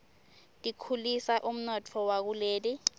tikhulisa umnotfo wakuleli